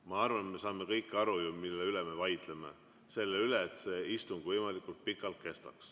Ma arvan, et me saame kõik aru, mille üle me vaidleme: selle üle, et see istung võimalikult pikalt kestaks.